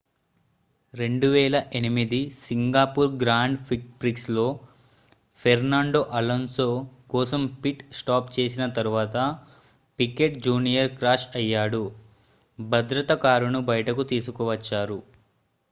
2008 Singapore grand ప్రిక్స్లో Fernando Alonso కోసం pit stop చేసిన తరువాత పికెట్ జూనియర్ క్రాష్ అయ్యాడు భద్రతా కారును బయటకు తీసుకువచ్చారు